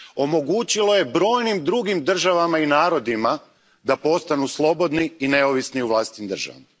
Omogućilo je brojnim drugim državama i narodima da postanu slobodni i neovisni u vlastitim državama.